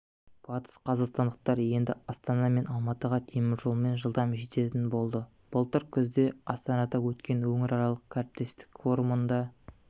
батысқазақстандықтар енді астана мен алматыға теміржолмен жылдам жететін болды былтыр күзде астанада өткен өңіраралық әріптестік форумында